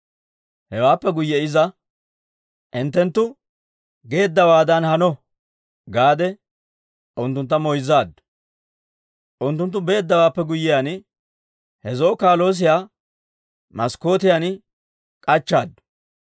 Hewaappe guyye iza, «Hinttenttu geeddawaadan hano» gaade, unttuntta moyzzaaddu. Unttunttu beeddawaappe guyyiyaan, he zo'o wodoruwaa maskkootiyan k'achchaaddu.